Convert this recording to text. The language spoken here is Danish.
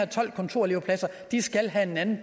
tolv kontorelevpladser skal have en anden